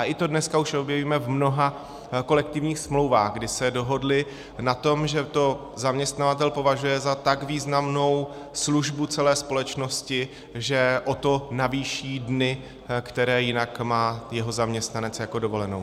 A i to dneska už objevíme v mnoha kolektivních smlouvách, kdy se dohodli na tom, že to zaměstnavatel považuje za tak významnou službu celé společnosti, že o to navýší dny, které jinak má jeho zaměstnanec jako dovolenou.